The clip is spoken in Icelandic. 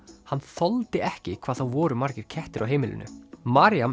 hann þoldi ekki hvað það voru margir kettir á heimilinu